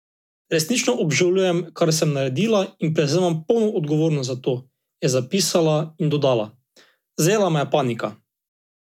Resnično obžalujem, kar sem naredila in prevzemam polno odgovornost za to," je zapisala in dodala: "Zajela me je panika.